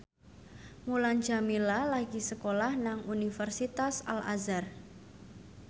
Mulan Jameela lagi sekolah nang Universitas Al Azhar